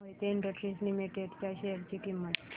Mohit industries limited च्या share ची किंमत